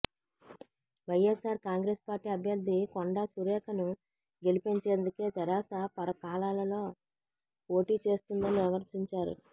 YSR Congress party అభ్యర్థి కొండా సురేఖను గెలిపించేందుకే తెరాస పరకాలలో పోటీ చేస్తుందని విమర్శించారు